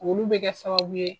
Olu bɛ kɛ sababu ye